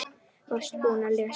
Varstu búinn að lesa hann?